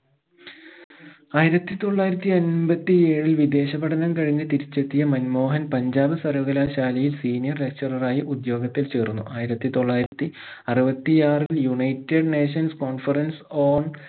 ആയിരത്തി തൊള്ളായിരത്തി അമ്പത്തി ഏഴിൽ വിദേശ പഠനം കഴിഞ്ഞ് തിരിച്ചെത്തിയ മൻമോഹൻ പഞ്ചാബ് സർവ്വകലാശാലയിൽ senior lecturer റായി ഉദ്യോഗത്തിൽ ചേർന്നു ആയിരത്തി തൊള്ളായിരത്തി അറുപത്തി ആറിൽ united nations conference on